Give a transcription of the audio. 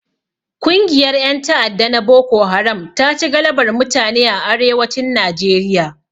Kungiyar ƴan ta'adda na boko haram taci galabar mutane a Arewacin Nijeriya